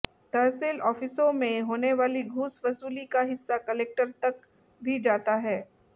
तहसील आॅफिसों में होने वाली घूस वसूली का हिस्सा कलेक्टर तक भी जाता है